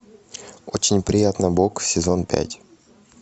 очень приятно бог сезон пять